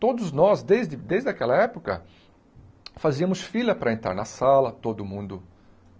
Todos nós, desde desde aquela época, fazíamos fila para entrar na sala, todo mundo.